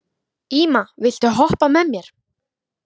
Íma, viltu hoppa með mér?